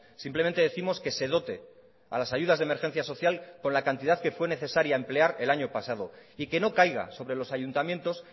simplemente décimos que se dote a las ayudas de emergencia social con la cantidad que fue necesaria emplear el año pasado y que no caiga sobre los ayuntamientos